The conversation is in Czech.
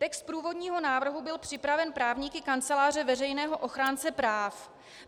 Text průvodního návrh byl připraven právníky Kanceláře veřejného ochránce práv.